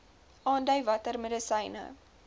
aandui watter medisyne